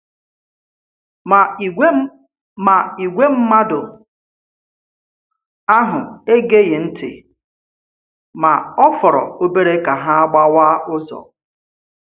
Ma ìgwè Ma ìgwè mmadụ ahụ egeghị ntị, ma ọ̀ fọrọ obere ka ha gbáwá ụzọ.